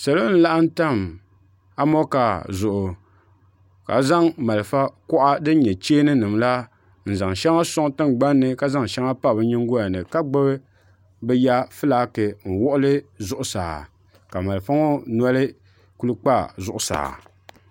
salo n-laɣim tam amonkaa zuɣu ka zaŋ Malta kuɣa din nyɛ cheeninima la n-zaŋ shɛŋa sɔŋ tiŋgbani ka zaŋ shɛŋa pa bɛ nyingoya ni ka gbubi bɛ ya fulaaki n-wuɣili zuɣusaa ka malfa ŋɔ noli kuli kpa zuɣu zuɣusaa.